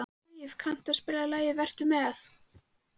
Hlíf, kanntu að spila lagið „Vertu með“?